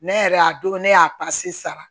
Ne yɛrɛ y'a don ne y'a sara